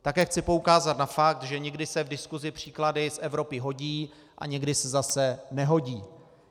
Také chci poukázat na fakt, že někdy se v diskusi příklady z Evropy hodí a někdy se zase nehodí.